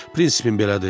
Prinsipim belədir.